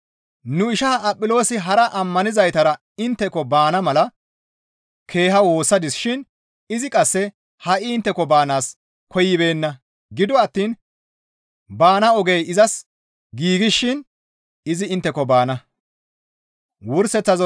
Nu isha Aphiloosi hara ammanizaytara intteko baana mala keeha woossadis shin izi qasse ha7i intteko baanaas koyibeenna; gido attiin baana ogey izas giigshin izi intteko baana.